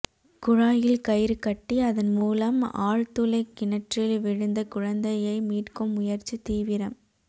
குழாயில் கயிறு கட்டி அதன் மூலம் ஆழ்துளை கிணற்றில் விழுந்த குழந்தையை மீட்கும் முயற்சி தீவிரம்